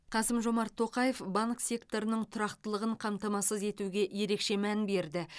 қасым жомарт тоқаев банк секторының тұрақтылығын қамтамасыз етуге ерекше мән берді